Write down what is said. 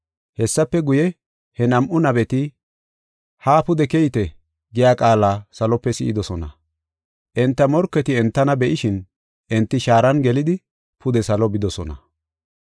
Hessafe guye, he nam7u nabeti, “Haa pude keyite” giya qaala salope si7idosona. Enta morketi entana be7ishin, enti shaaran gelidi pude salo bidosona.